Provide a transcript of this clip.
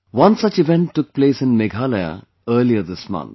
One such event took place in Meghalaya earlier this month